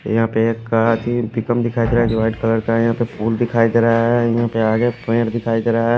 यहाँपे एक कार ही पिकंप दिखाई देरा है जो वाइट कलर का है यहा पे फुल दिखाई देरा है यहा पे आगे पेड़ दिखाई देरा है।